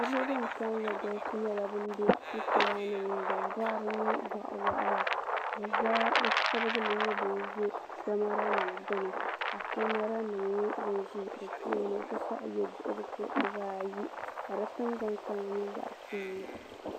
niraba ban kalinli galisi nyɛla ban bɛ sitira ni din boɣari nyɛ boɣa waɣala bi shab nyɛ ban ʒɛ kamɛra nim gbuni kamɛra nim n nyɛ din ʒi bi tooni n ti pahi yɛ duɣurisi dibaayi ka di tingbani kama nyɛ zaɣ piɛlli